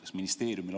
Aeg, Indrek!